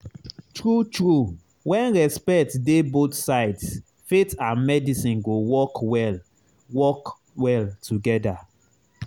true true when respect dey both sides faith and medicine go work well work well together.